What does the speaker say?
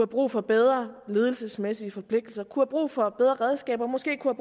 brug for bedre ledelsesmæssige forpligtelser kunne have brug for bedre redskaber måske kunne